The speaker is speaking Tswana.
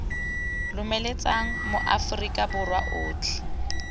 lomeletsa ma aforika borwa otlhe